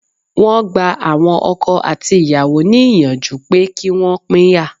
Wọ́n gba àwọn ọkọ àti ìyàwó ní ìyànjú pé kí Wọ́n pínyà.